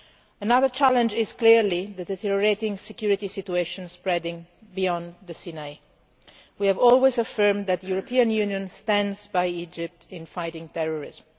Another challenge is clearly that of the deteriorating security situation spreading beyond the Sinai. We have always affirmed that the European Union stands by Egypt in fighting terrorism.